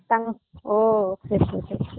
தங்கம் ஓ சரி சரி சரி